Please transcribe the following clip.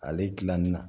Ale gilanni na